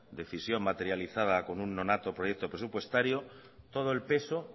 decisión materializada con una nonato proyecto presupuestario todo el peso